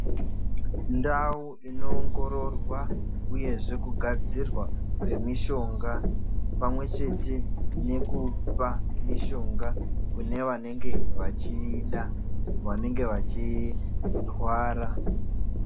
Ndawo dzino ongororwa uyezve kugadzirwa kwemishonga, pamwe chete nekupa mishonga kune vanenge vachiyida, vanenge vachirwara.